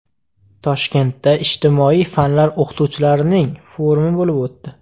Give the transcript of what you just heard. Toshkentda ijtimoiy fanlar o‘qituvchilarining forumi bo‘lib o‘tdi.